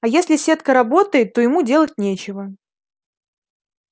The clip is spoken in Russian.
а если сетка работает то ему делать нечего